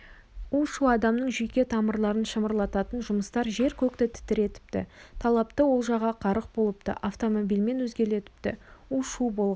у-шу адамның жүйке тамырларын шымырлататын жұмыстар жер-көкті тітіретіпті талапты олжаға қарық болыпты автомобильмен езгілепті у-шу болған